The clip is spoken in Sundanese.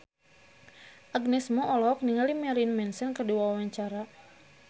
Agnes Mo olohok ningali Marilyn Manson keur diwawancara